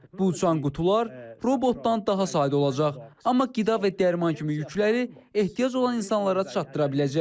Bu uçan qutular robotdan daha sadə olacaq, amma qida və dərman kimi yükləri ehtiyac olan insanlara çatdıra biləcək.